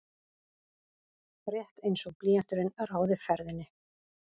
Rétt einsog blýanturinn ráði ferðinni.